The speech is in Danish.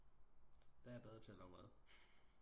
Der er jeg bedre til at lave mad